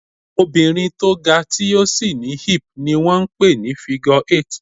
Obìnrin tó ga, tí ó sì ní hip ni wón ń pè ní "figure eight".